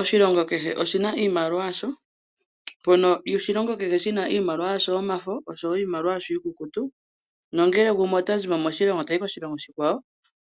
Oshilongo kehe oshi na iimaliwa yasho. Mpono oshilongo kehe shi na iimaliwa yasho yomafo oshowo iikukutu. Nongele omuntu ota zimo moshilongo tayi koshilongo oshikwawo,